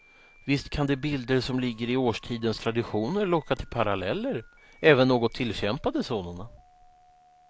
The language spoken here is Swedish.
Visst kan de bilder som ligger i årstidens traditioner locka till paralleller, även något tillkämpade sådana.